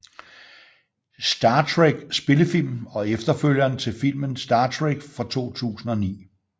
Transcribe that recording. Star Trek spillefilm og efterfølgeren til filmen Star Trek fra 2009